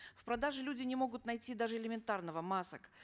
в продаже люди не могут найти даже элементарного масок